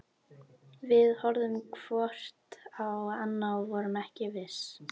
Við horfðum hvort á annað- og vorum ekki viss.